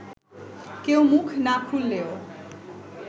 কেউ মুখ না খুললেও